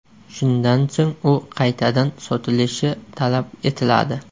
Shundan so‘ng u qaytadan sotilishi talab etiladi.